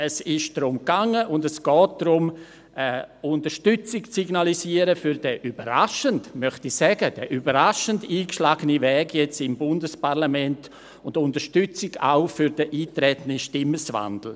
Es ist darum gegangen und es geht darum, Unterstützung für den überraschend – das möchte ich hier sagen – eingeschlagenen Weg im Bundesparlament zu signalisieren, Unterstützung auch für den eingetretenen Sinneswandel.